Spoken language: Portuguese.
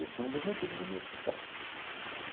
Esse é um dos motivos do meu sucesso.